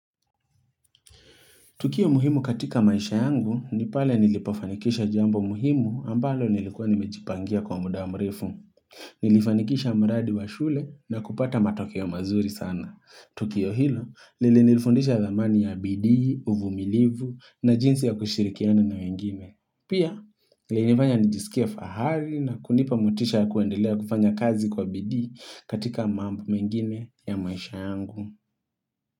Tukio muhimu katika maisha yangu ni pale nilipofanikisha jambo muhimu ambalo nilikuwa nimejipangia kwa muda mrefu. Nilifanikisha mradi wa shule na kupata matokeo mazuri sana. Tukio hilo lili nilifundisha dhamani ya bidii, uvumilivu na jinsi ya kushirikiana na wengime. Pia linifanya nijisikie fahari na kunipa motisha ya kuendelea kufanya kazi kwa bidii katika mambo mengine ya maisha yangu.